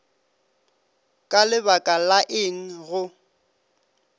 ka lebaka la eng go